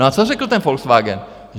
No a co řekl ten Volkswagen?